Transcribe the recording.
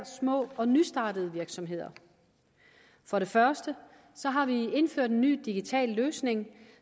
små og nystartede virksomheder for det første har vi indført en ny digital løsning